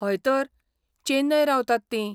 हय तर, चेन्नय रावतात तीं.